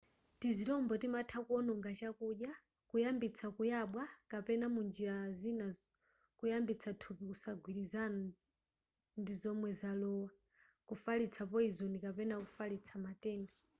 tizirombo timatha kuononga chakudya kuyambitsa kuyabwa kapena munjira zina kuyambitsa thupi kusagwirizana ndizomwe zalowa kufalitsa poyizoni kapena kufalitsa matenda